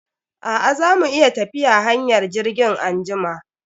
A'a, za mu iya tafiya hanyar jirgin anjima.